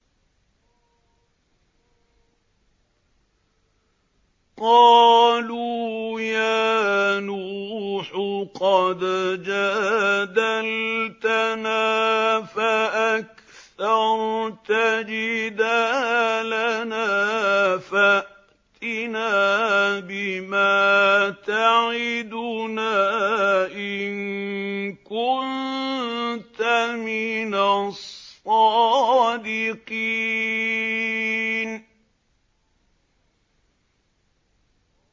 قَالُوا يَا نُوحُ قَدْ جَادَلْتَنَا فَأَكْثَرْتَ جِدَالَنَا فَأْتِنَا بِمَا تَعِدُنَا إِن كُنتَ مِنَ الصَّادِقِينَ